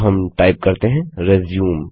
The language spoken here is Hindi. तो हम टाइप करते हैं रिज्यूम